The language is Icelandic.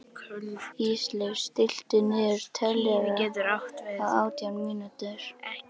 Ísleif, stilltu niðurteljara á átján mínútur.